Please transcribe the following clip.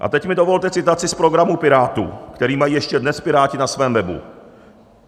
A teď mi dovolte citaci z programu Pirátů, který mají ještě dnes Piráti na svém webu.